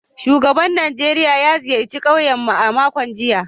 Shugaban Najeriya ya ziyarci kauyen mu a makon jiya